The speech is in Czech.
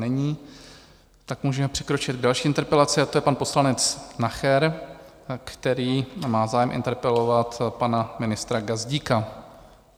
Není, tak můžeme přikročit k další interpelaci a to je pan poslanec Nacher, který má zájem interpelovat pana ministra Gazdíka.